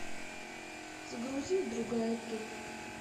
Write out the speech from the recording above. загрузи другая ты